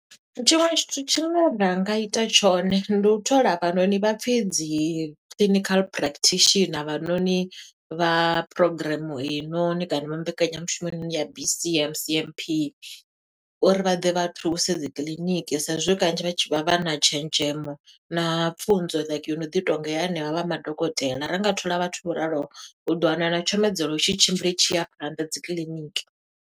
Tshiṅwe tshithu tshine ra nga ita tshone, ndi u thola avhanoni vha pfi dzi Clinical Practitioner avhanoni vha phurogireme eyi noni, kana vha mbekanyamushumo eyi noni ya B_C_M_C_M_P uri vha ḓe vha thuse dzi kiḽiniki. Sa e zwi kanzhi vha tshi vha vha na tshenzhemo na pfunzo like yo no ḓi tonga ya henevha vha madokotela. Ra nga thola vhathu vho ralo o, u ḓo wana na tshumedzelo i tshi tshimbila i tshi ya phanḓa dzi kiḽiniki.